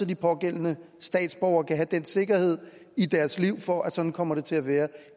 de pågældende statsborgere kan have den sikkerhed i deres liv for at sådan kommer det til at være